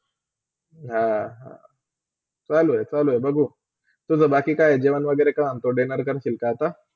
अह चालू हे - चालू हे बघू, तुझा बाकी काय जेवण वगेरा काय dinner करशील काय आता?